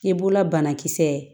I b'ola banakisɛ